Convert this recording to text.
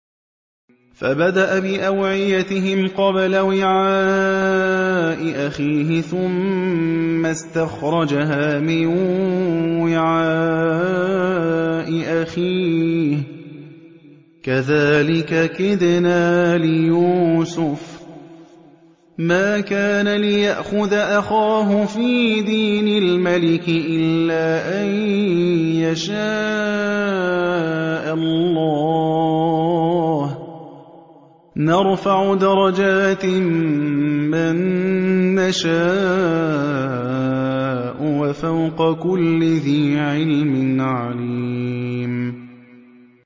فَبَدَأَ بِأَوْعِيَتِهِمْ قَبْلَ وِعَاءِ أَخِيهِ ثُمَّ اسْتَخْرَجَهَا مِن وِعَاءِ أَخِيهِ ۚ كَذَٰلِكَ كِدْنَا لِيُوسُفَ ۖ مَا كَانَ لِيَأْخُذَ أَخَاهُ فِي دِينِ الْمَلِكِ إِلَّا أَن يَشَاءَ اللَّهُ ۚ نَرْفَعُ دَرَجَاتٍ مَّن نَّشَاءُ ۗ وَفَوْقَ كُلِّ ذِي عِلْمٍ عَلِيمٌ